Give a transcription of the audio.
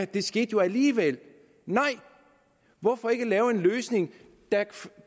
det skete jo alligevel nej hvorfor ikke lave en løsning der